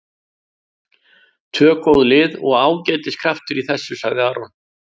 Tvö góð lið og ágætis kraftur í þessu, sagði Aron.